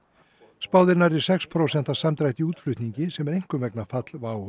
spáð er nærri sex prósenta samdrætti í útflutningi sem er einkum vegna falls WOW